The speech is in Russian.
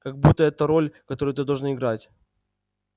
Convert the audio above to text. как будто это роль которую ты должен играть